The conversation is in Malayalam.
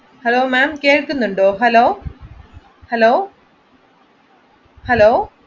hello ma'am കേൾക്കുന്നുണ്ടോ? hello hello